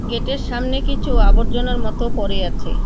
Gate -এর সামনে কিচু আবর্জনার মতো পড়ে আছে।